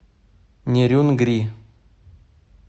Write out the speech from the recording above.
нерюнгри